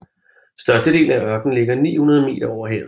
Størstedelen af ørkenen ligger 900 meter over havet